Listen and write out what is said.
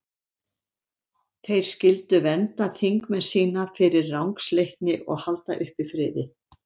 Þeir skyldu vernda þingmenn sína fyrir rangsleitni og halda uppi friði.